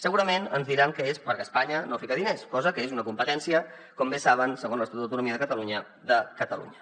segurament ens diran que és perquè espanya no hi fica diners cosa que és una competència com bé saben segons l’estatut d’autonomia de catalunya de catalunya